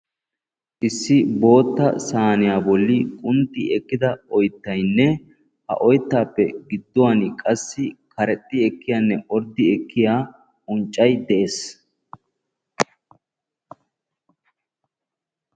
Issi bootta saaniya bolli qunxxi ekida oyttaynne ha oyttaappe gidduwan qassi karexxi ekkiyanne orddi ekkiya unccay de'ees.